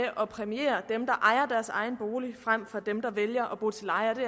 at præmiere dem der ejer deres egen bolig frem for dem der vælger at bo til leje og det